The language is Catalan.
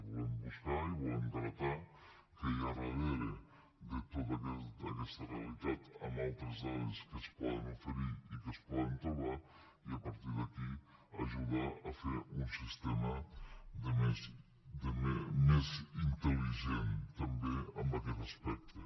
volem buscar i volem gratar què hi ha darrere de tota aquesta realitat amb altres dades que es poden oferir i que es poden trobar i a partir d’aquí ajudar a fer un sistema més intel·ligent també en aquest aspecte